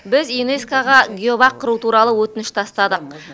біз юнеско ға геобақ құру туралы өтініш тастадық